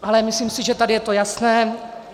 Ale myslím si, že tady je to jasné.